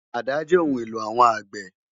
Àdá jè óoùn éló áwòn ágbè